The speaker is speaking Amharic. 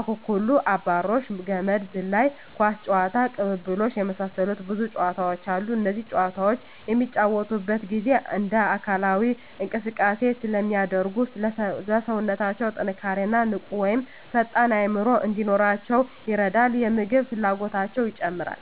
አኩኩሉ....፣አብራሪዎች፣ ገመድ ዝላይ፣ ኳስ ጨዋታ፣ ቅልብልቦሽ የመሳሰሉት ብዙ ጨዋታዎች አሉ እነዚህ ጨዋታዎች በሚጫወቱበት ጊዜ እንደ አካላዊ እንቅስቃሴ ስለሚያደርጉ ለሠውነታው ጥንካሬ እና ንቁ ወይም ፈጣን አዕምሮ እንዲኖራቸው ይረዳል የምግብ ፍላጎታቸው ይጨምራል